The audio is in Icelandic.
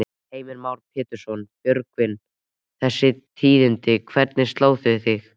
Heimir Már Pétursson: Björgvin, þessi tíðindi, hvernig slá þau þig?